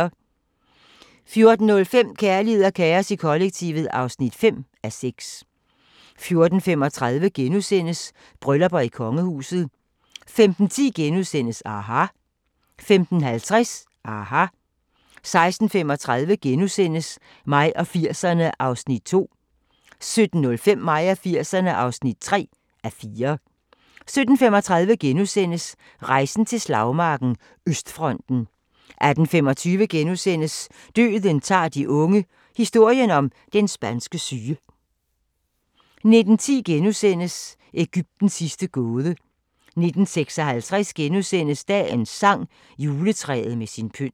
14:05: Kærlighed og kaos i kollektivet (5:6) 14:35: Bryllupper i kongehuset * 15:10: aHA! * 15:50: aHA! 16:35: Mig og 80'erne (2:4)* 17:05: Mig og 80'erne (3:4) 17:35: Rejsen til slagmarken: Østfronten * 18:25: Døden tager de unge – historien om den spanske syge * 19:10: Egyptens sidste gåde * 19:56: Dagens sang: Juletræet med sin pynt *